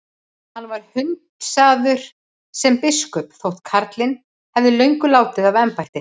Hann var hundsaður sem biskup þótt karlinn hefði löngu látið af embætti.